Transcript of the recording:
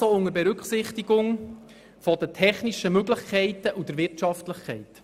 Dies auch unter Berücksichtigung der technischen Möglichkeiten und der Wirtschaftlichkeit.